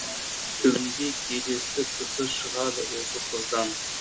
түбінде келісті кісі шығады осы қыздан